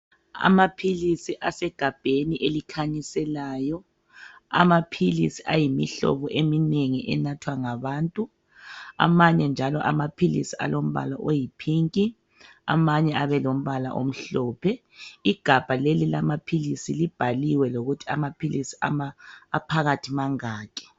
Amaphilisi asegabheni elikhanyiselayo ayimihlobo eminengi enathwa ngabantu. Amanye njalo amaphilisi alombala oyiphinki amanye abe lombala omhlophe. Igabha leli lamaphilisi libhaliwe lokuthi amaphilisi aphakathi mangaki.